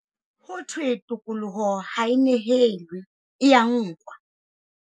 Ho thwe tokoloho ha e nehelwe, e ya nkwa.